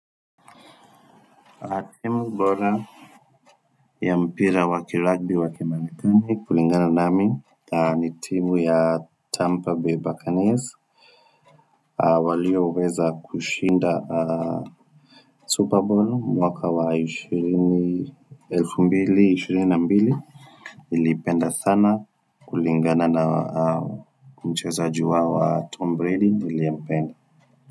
Timu bora ya mpira wa kiragbi wa kimarekani kulingana nami ni timu ya Tampa Bay Bacanesi walioweza kushinda Super Bowl mwaka wa 2022, nilipenda sana kulingana na mchezaji wao wa Tom Brady niliyempenda.